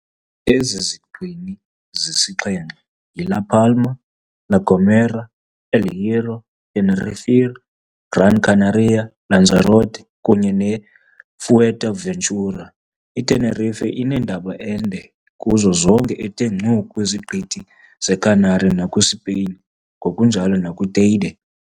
Ezi ziqini zisixhenxe yi-La Palma, La Gomera, El Hierro, Tenerife, Gran Canaria, Lanzarote, kunye ne-Fuerteventura. I-Tenerife inentaba ende kuzo zonke ethe ngcu kwiziqithi ze-Canary nakwisipain ngokunjalo, nakwi-Teide.